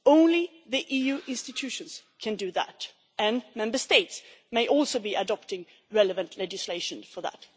only the EU institutions can do that, and Member States may also adopt relevant legislation for that.